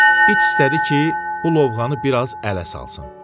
İt istədi ki, bu lovğanı biraz ələ salsın.